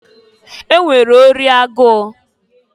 E nwere ori agụụ.